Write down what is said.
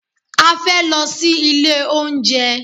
A fẹ́ lọ sí ilé oúnjẹ.